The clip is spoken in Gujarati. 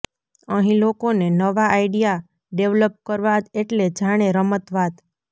અહીં લોકોને નવા આઈડિયા ડેવલપ કરવા એટલે જાણે રમત વાત